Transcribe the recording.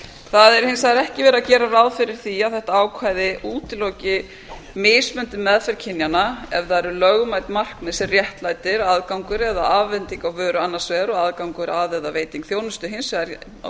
það er hins vegar ekki verið að gera ráð fyrir því að þetta ákvæði útiloki mismunandi meðferð kynjanna ef það eru lögmæt markmið sem réttlæta aðgangur eða afhending á vöru annars vegar og aðgangur að eða veiting þjónustu hins vegar